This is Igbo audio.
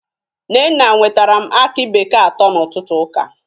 Nnenna nwetaram akị bekee atọ na ọtụtụ ụka.